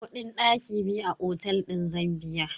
Kudin daki biyu a otel din zan biya.